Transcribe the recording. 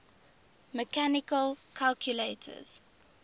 mechanical calculators